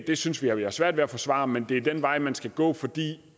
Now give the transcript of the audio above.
det synes vi at vi har svært ved at forsvare men det er den vej man skal gå fordi